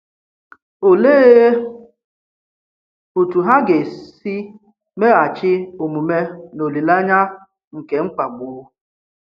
Òlee otú hà ga-esi meghachi omume n’olileanyà nke mkpàgbu?